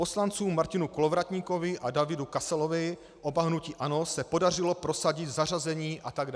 Poslancům Martinu Kolovratníkovi a Davidu Kasalovi, oba hnutí ANO, se podařilo prosadit zařazení atd.